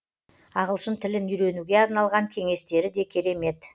ағылшын тілін үйренуге арналған кеңестері де керемет